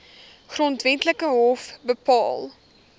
grondwetlike hof bepaal